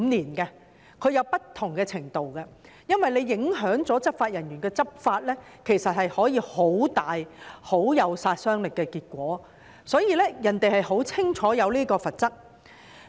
當地訂有不同的程度，因為若執法人員的執法受到影響，其實可以產生很大、很有殺傷力的結果，所以，當地很清楚地訂明有關罰則。